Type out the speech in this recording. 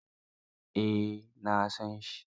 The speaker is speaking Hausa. Eh, na san shi.